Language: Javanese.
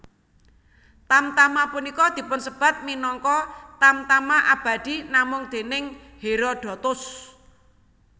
Tamtama punika dipunsebat minangka Tamtama Abadi namung déning Herodotos